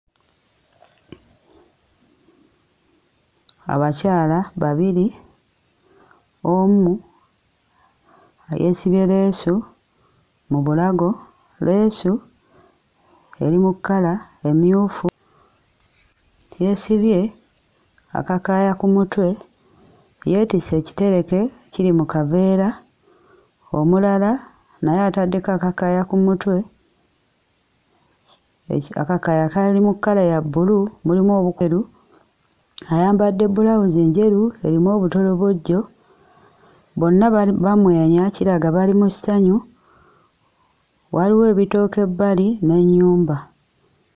Abakyala babiri, omu yeesibye leesu mu bulago. Leesu eri mu kkala emmyufu; yeesibye akakaaya ku mutwe yeetisse ekitereke kiri mu kaveera. Omulala naye ataddeko akakaaya ku mutwe eki akakaaya kali mu kkala ya bbulu mulimu obweru, ayambadde bbulawuzi njeru erimu obutolobojjo bonna bali bamwenya kiraga bali mu ssanyu, waliwo ebitooke ebbali n'ennyumba.